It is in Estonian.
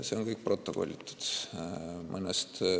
See on kõik protokollitud.